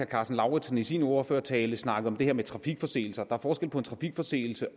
karsten lauritzen i sin ordførertale snakkede om det her med trafikforseelser og der er forskel på en trafikforseelse